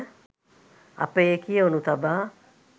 අප එය කියවනු තබා